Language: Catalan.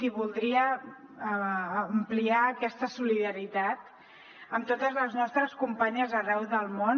i voldria ampliar aquesta solidaritat amb totes les nostres companyes arreu del món